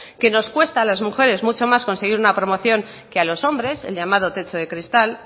que nos cuesta a las mujeres mucho más conseguir una promoción que a los hombres el llamado techo de cristal